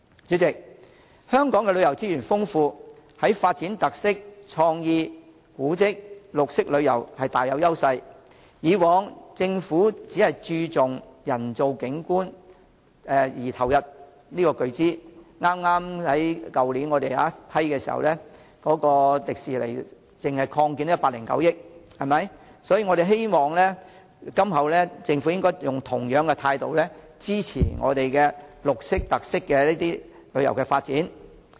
主席，香港旅遊資源豐富，在發展特色、創意、古蹟、綠色旅遊大有優勢，以往政府只注重人造景點並投入巨資——去年我們就香港迪士尼樂園擴建批出撥款109億元——希望今後政府以同樣態度支持綠色、特色旅遊的發展。